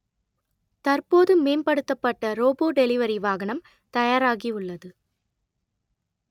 தற்போது மேம்படுத்தப்பட்ட robot delivery வாகனம் தயாராகி உள்ளது